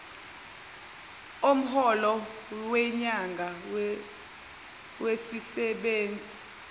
omholo wenyanga wesisebenzi